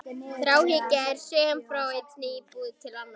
Þráhyggja er söm frá einni íbúð til annarrar.